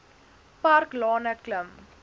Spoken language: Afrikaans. park lane klim